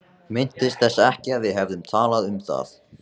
Minntist þess ekki að við hefðum talað um það.